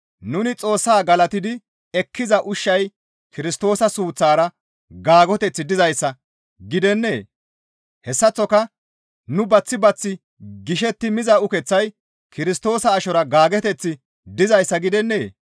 Nuni Xoossa galatidi ekkiza ushshay Kirstoosa suuththara gaagoteththi dizayssa gidennee? Hessaththoka nu baththi baththi gishetti miza ukeththay Kirstoosa ashora gaagoteththi dizayssa gidennee?